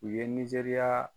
U ye Nizeriya